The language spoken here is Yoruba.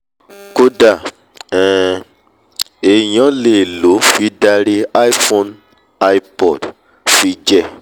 kódà um èèyàn lè lòó fi darí iphone/ipod - fi jẹ́ um